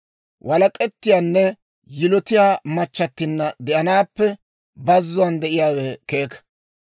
Walak'ettiyaanne yilotiyaa machchattinna de'anaappe bazzuwaan de'iyaawe keeka.